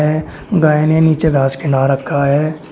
गाय ने नीचे घास खिला रखा है।